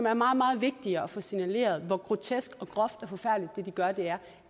er meget meget vigtigere at få signaleret hvor grotesk og groft og forfærdeligt det de gør er